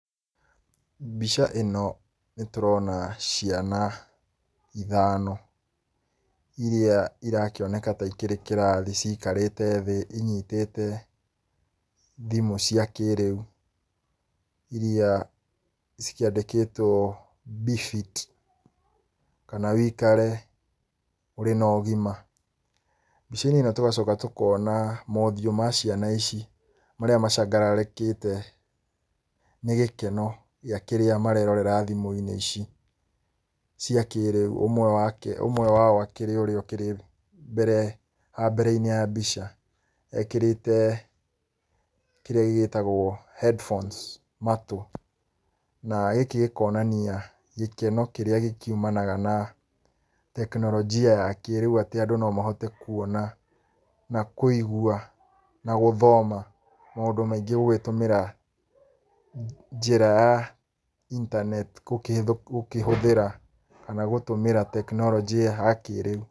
Mbica ĩno, nĩtũrona ciana ithano iria irakĩoneka ta ikĩrĩ kĩrathi cikarĩte thĩ inyitĩte thimũ cia kĩrĩu, iria cikĩandĩkĩtwo befit, kana wĩkare ũrĩ na ũgima. Mbica-inĩ ĩno tũgacoka tũkona mothiũ ma ciana ici, marĩa macangarĩkĩte, nĩ gĩkeno gĩa kĩrĩa marerorera thimũ-inĩ ici, cia kĩrĩu, ũmwe wake, ũmwe wao akĩrĩ ũrĩa ũkĩrĩ mbere haha mbere-inĩ ya mbica, ekĩrĩte kĩrĩa gĩgĩtagwo headphones matu. Na gĩkĩ gĩkonania gĩkeno kĩrĩa gĩkiumanaga na tekinoronjia ya kĩrĩu, atĩ andũ nomahote kuona, na kuigua, na gũthoma maũndũ maingĩ gũgĩtũmĩra njĩra ya intaneti gũkĩhĩ, gũkĩhũthĩra kana gũtũmĩra tekinoronjĩ ya kĩrĩu.